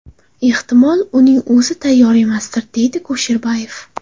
Ehtimol, uning o‘zi tayyor emasdir”, deydi Kusherbayev.